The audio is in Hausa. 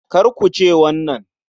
Kakarku ce wannan?